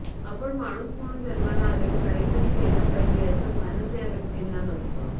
आपण माणूस म्हणून जन्माला आलोय काही तरी केलं पाहिजे याचं भानच या व्यक्तींना नसतं